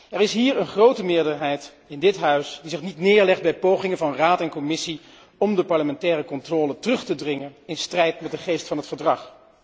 Er is in dit Huis een grote meerderheid die zich niet neerlegt bij pogingen van Raad en Commissie om de parlementaire controle terug te dringen in strijd met de geest van het verdrag.